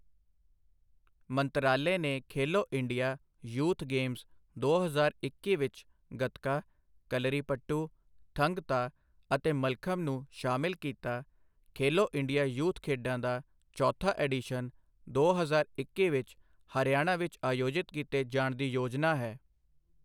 ਮੰਤਰਾਲੇ ਨੇ Khelo India youth games ਦੋ ਹਜ਼ਾਰ ਇੱਕੀ ਵਿਚ ਗੱਤਕਾ, ਕਲਾਰੀਪਯੱਟੂ, ਥੰਗ ਤਾ ਅਤੇ ਮੱਲਖੰਬ ਨੂੰ ਸ਼ਾਮਲ ਕੀਤਾ ਖੇਲੋ ਇੰਡੀਆ ਯੂਥ ਖੇਡਾਂ ਦਾ ਚੌਥਾ ਐਡੀਸ਼ਨ ਦੋ ਹਜ਼ਾਰ ਇੱਕੀ ਵਿੱਚ ਹਰਿਆਣਾ ਵਿੱਚ ਆਯੋਜਿਤ ਕੀਤੇ ਜਾਣ ਦੀ ਯੋਜਨਾ ਹੈ।